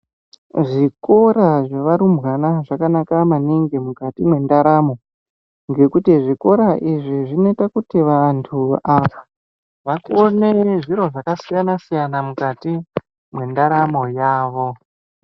Zvikora zvevarumbwane zvakana maningi mukati mwendaramo ngekuti zvikora izvi zvinoita kuti vantu ava vakone zviro zvakasiyana siyana mukati mwendaramo yavo.